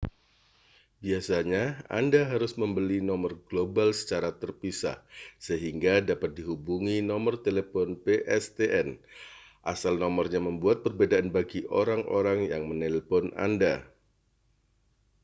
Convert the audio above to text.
biasanya anda harus membeli nomor global secara terpisah sehingga dapat dihubungi nomor telepon pstn. asal nomornya membuat perbedaan bagi orang-orang yang menelepon anda